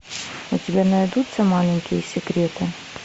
у тебя найдутся маленькие секреты